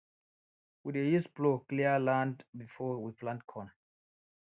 we dey use plough clear land before we plant corn